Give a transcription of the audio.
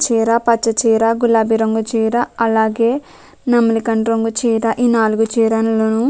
చీర పచ్చచీర గులాబీరంగు చీర అలాగే నెమలికంటురంగు చీర ఈనాలుగు చీరలలోనూ --